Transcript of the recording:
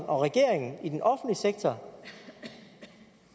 og regeringen i den offentlige sektor